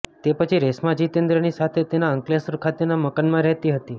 તે પછી રેશ્મા જીતેન્દ્રની સાથે તેના અંકલેશ્વર ખાતેના મકાનમાં રહેતી હતી